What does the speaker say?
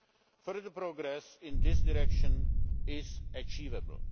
Macedonia. Further progress in this direction is achievable.